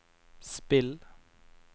spill